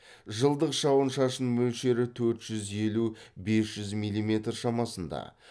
жылдық жауын шашын мөлшері төрт жүз елу бес жүз миллиметр шамасында